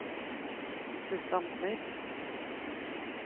Guttorm Smith